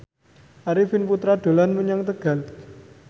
Arifin Putra dolan menyang Tegal